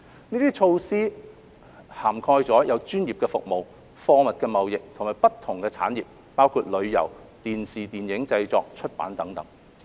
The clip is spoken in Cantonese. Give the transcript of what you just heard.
這些措施涵蓋專業服務、貨物貿易，以及不同產業，包括旅遊、電影電視製作、出版等。